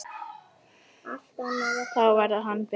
Þá verður hann enn betri.